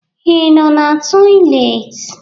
Ị nọ n'toịletị?